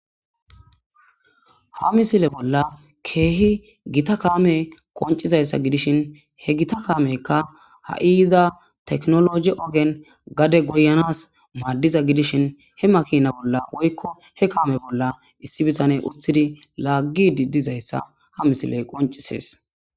ha misile bolla keehi gita kaame qoncizayssa gidishin he gita kaameykka ha7iiza teknologi ogen gade goyanas maaddiza gidishin he makina bolla woykko he kaame bolla issi bitane uthidi laaggi diddizayssa ha misiley qoncisees